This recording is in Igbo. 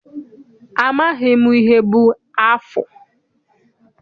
Amaghị m ihe bụ afụ.